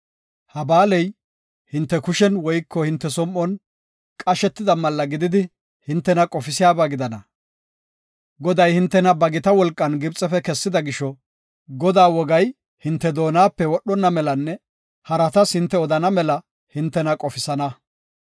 Ha ba7aaley hinte kushen woyko hinte som7on qashetida malla gididi hintena qofisiyaba gidana. Goday hintena ba gita wolqan Gibxefe kessida gisho, Godaa wogay hinte doonape wodhonna melanne haratas hinte odana mela hintena qofisana.